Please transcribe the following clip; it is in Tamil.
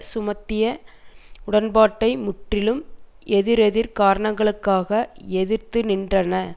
சுமத்திய உடன்பாட்டை முற்றிலும் எதிரெதிர் காரணங்களுக்காக எதிர்த்து நின்றன